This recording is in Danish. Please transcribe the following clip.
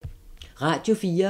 Radio 4